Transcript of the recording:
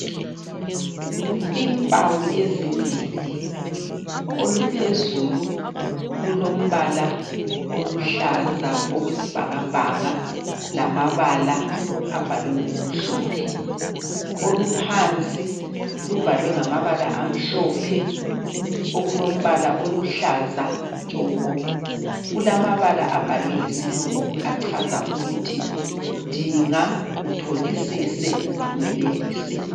Impawu ezimbili, oluphezulu lulombala oluhlaza okwesibhakabhaka, lamabala abhalwe ngokumhlophe. Oluphansi lubhalwe ngamabala amhlophe, okulombala oluhlaza tshoko. Kulamabala abhalwe ngesilungu achaza ukuthi dinga, utholisise, uphumelelise.